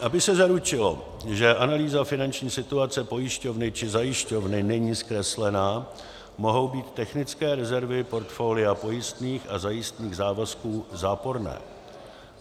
Aby se zaručilo, že analýza finanční situace pojišťovny či zajišťovny není zkreslená, mohou být technické rezervy portfolia pojistných a zajistných závazků záporné.